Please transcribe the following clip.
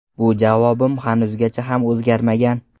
Bu javobim hanuzgacha ham o‘zgarmagan.